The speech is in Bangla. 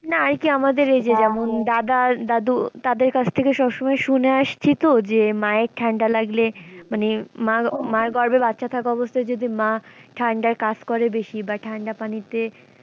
না আরকি আমাদের এই যে যেমন দাদা, দাদু তাদের কাছ থেকে সবসময় শুনে আসি তো যে মায়ের ঠাণ্ডা লাগলে মানে মা, মা গর্ভে বাচ্চা থাকা অবস্থায় যদি মা ঠাণ্ডায় কাজ করে বেশি বা ঠাণ্ডা পানিতে,